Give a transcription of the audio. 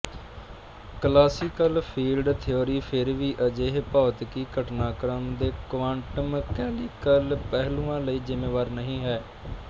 classical field theory ਫੇਰ ਵੀ ਅਜਿਹੇ ਭੌਤਿਕੀ ਘਟਨਾਕ੍ਰਮ ਦੇ ਕੁਆਂਟਮਮਕੈਨੀਕਲ ਪਹਿਲੂਆਂ ਲਈ ਜ਼ਿੰਮੇਵਾਰ ਨਹੀਂ ਹੈ